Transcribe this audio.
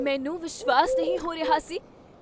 ਮੈਨੂੰ ਵਿਸ਼ਵਾਸ ਨਹੀਂ ਹੋ ਰਿਹਾ ਸੀ